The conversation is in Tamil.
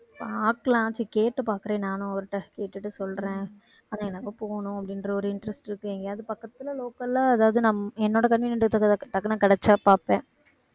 பாக்கலாம் சரி கேட்டு பாக்குறேன். நானும் அவர் கிட்ட கேட்டுட்டு சொல்றேன். ஆனா, எனக்கு போகனும் அப்படின்ற ஒரு interest இருக்கு. எங்கயாவது பக்கத்துல local ஆ அதாவது நான் என்னோட convenient க்கு டக்குனு கிடைச்சா பார்ப்பேன்.